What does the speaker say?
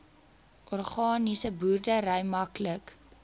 organiese boerdery maklik